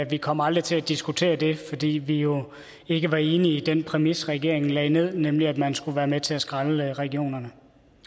vi kom aldrig til at diskutere det fordi vi jo ikke var enige i den præmis regeringen lagde ned nemlig at man skulle være med til at skrælle regionerne